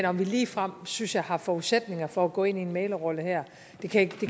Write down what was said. om vi ligefrem synes jeg har forudsætninger for at gå ind i en mæglerrolle her kan